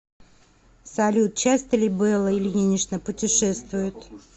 салют часто ли белла ильинична путешествует